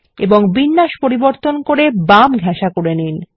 এবং বিন্যাস পরিবর্তন করে বাম ঘেঁসা করে নিন